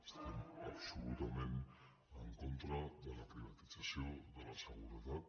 estem absolutament en contra de la privatització de la seguretat